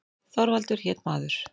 Þorvaldur hét maður.